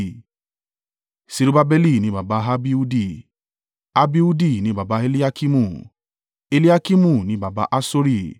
Serubbabeli ni baba Abihudi; Abihudi ni baba Eliakimu; Eliakimu ni baba Asori;